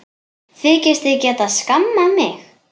Þykist þið geta skammað mig!